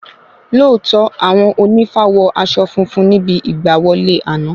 Lóòtọ́ Àwọn ònífá wọ aṣọ funfun níbi ìgbà wọlé àná